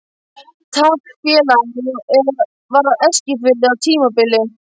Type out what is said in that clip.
Taflfélag var á Eskifirði á tímabili.